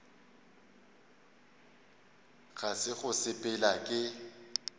ga se go sepela ke